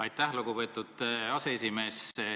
Aitäh, lugupeetud aseesimees!